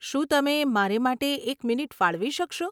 શું તમે મારે માટે એક મિનિટ ફાળવી શકશો?